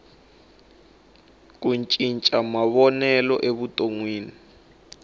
ti cinca mavonelo evutonwini